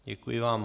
Děkuji vám.